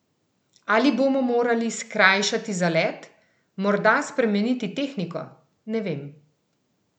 Ali bomo morali skrajšati zalet, morda spremeniti tehniko, ne vem?